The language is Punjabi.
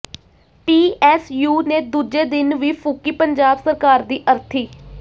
ਪੀਐਸਯੂ ਨੇ ਦੂਜੇ ਦਿਨ ਵੀ ਫੂਕੀ ਪੰਜਾਬ ਸਰਕਾਰ ਦੀ ਅਰਥੀ